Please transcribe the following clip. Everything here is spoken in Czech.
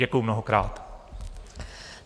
Děkuji mnohokrát.